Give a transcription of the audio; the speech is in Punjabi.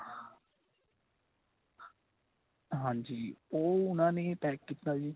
ਹਾਂਜੀ ਉਹ ਉਨ੍ਹਾਂ ਨੇ pack ਕੀਤਾ ਜੀ.